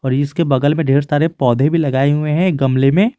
इसके बगल में ढेर सारे पौधे भी लगाए हुए हैं गमले में।